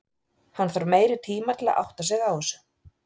Hann þarf meiri tima til að átta sig á þessu.